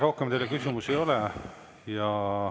Rohkem teile küsimusi ei ole.